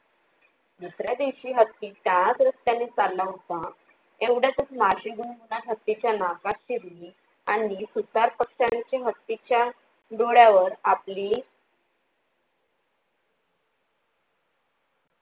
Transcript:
दुसऱ्या दिवशी हत्ती त्याच रस्त्याने चालला होता तेव्हड्यातच माशी भिनभिनंत हत्तीच्या नाकात शिरली आणि सुतार पक्ष्यांचे हत्तीच्या डोळ्यावर आपली